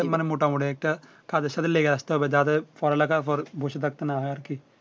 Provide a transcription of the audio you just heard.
মানে মোটামুটি একটা কাজের সাথে লেগে আসতে হবে যাদের পড়ালেখা করে বসে থাকতে না হয় আরকি